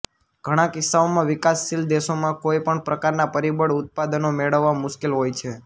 ઘણા કિસ્સાઓમાં વિકાસશીલ દેશોમાં કોઇ પણ પ્રકારના પરિબળ ઉત્પાદનો મેળવવા મુશ્કેલ હોય છે